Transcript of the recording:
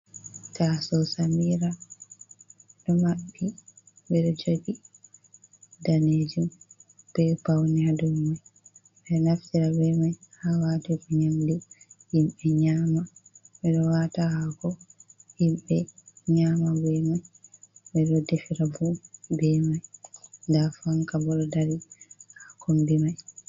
Tasawo samira ɗo maɓbi ɓeɗo jogi danejum be paune ha dow man ɓeɗo naftira be mai, ha watugo nyamdu himɓe nyama. Ɓeɗo wata hako himɓe nyama be mai, ɓeɗo defira be mai fu, fanka bo ɗo dari ha kombi mai.